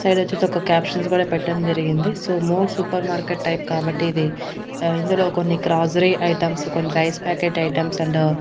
ఇటు సైడ్ వచ్చేసి ఒక క్యాప్షన్ కూడా పెట్టడం జరిగింది so More super market type కాబట్టి ఇది ఇందులో కొన్ని గ్రోసరీ ఐటమ్స్ కొన్ని రైస్ ప్యాకెట్ ఐటమ్స్ అండ్ --